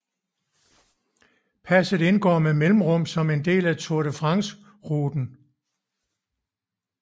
Passet indgår med mellemrum som en del af Tour de France ruten